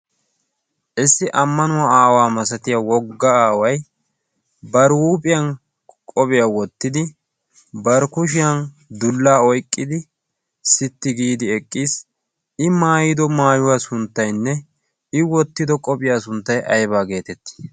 issi ammanuwa aawaa malatiya woga aaway bari huuphiyan qophiya wottidi eqiis, i maayido maayuwa sunttaynne i wotido qophiya sunttay aybba geetettii?